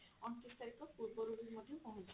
ଅଣତିରିଶ ତାରିଖ ପୂର୍ବରୁ ମଧ୍ୟ ପହଞ୍ଚିପାରେ ସେଇଟା ଆପଣ ଜାଣିପାରିବେ